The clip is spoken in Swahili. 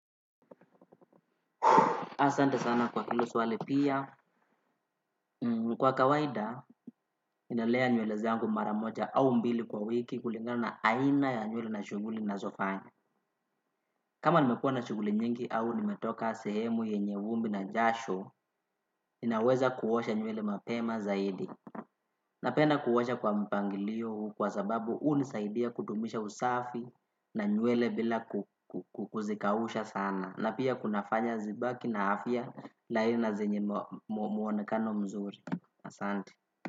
Asante sana kwa hilo swali pia, kwa kawaida, ninalea nywele zangu mara moja au mbili kwa wiki kulingana na aina ya nywele na shuguli nazofanya. Kama nimekuwa na shuguli nyingi au nimetoka sehemu yenye vumbi na jasho, ninaweza kuosha nywele mapema zaidi. Napenda kuosha kwa mpangilio kwa sababu hu unisaidia kudumisha usafi na nywele bila kuzikausha sana. Na pia kunafanya zibaki na afya laina na zenye muonekano mzuri. Asante.